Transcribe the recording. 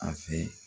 A fɛ